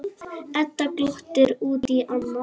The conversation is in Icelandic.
Edda glottir út í annað.